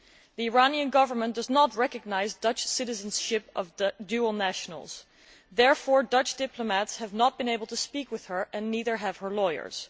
The Iranian Government does not recognise the Dutch citizenship of dual nationals. Therefore, Dutch diplomats have not been able to speak with this person, and neither have her lawyers.